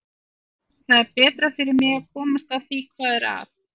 Það er betra fyrir mig að komast að því hvað er að.